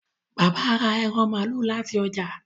Bàbá rà ẹran malu láti ọjà